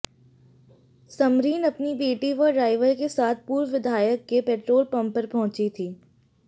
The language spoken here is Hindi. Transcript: समरीन अपनी बेटी व ड्राइवर के साथ पूर्व विधायक के पेट्रोल पंप पर पहुंची थी